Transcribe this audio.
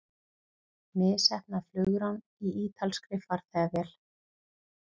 Misheppnað flugrán í ítalskri farþegavél